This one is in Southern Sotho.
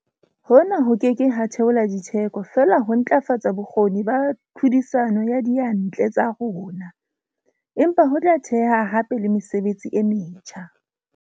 Hona ho ke ke ha theola ditheko fela le ho ntlafatsa bokgoni ba tlhodisano ya diyantle tsa rona, empa ho tla theha hape le mesebetsi e metjha.